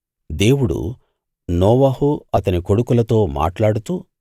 దేవుడు నోవహు అతని కొడుకులతో మాట్లాడుతూ